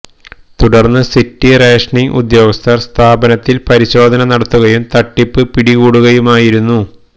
തുടർന്ന് city rationing ഉദ്യോഗസ്ഥര് സ്ഥാപനത്തില് പരിശോധന നടത്തുകയും തട്ടിപ്പ് പിടികൂടുകയുമായിരുന്നു